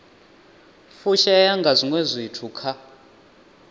fushea nga zwiwe zwithu kha